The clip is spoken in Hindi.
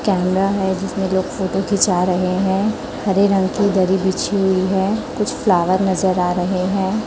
कैमरा है जिसमें लोग फोटो खींचा रहे हैं हरे रंग की दरी बिछी हुई है कुछ फ्लावर नजर आ रहे हैं।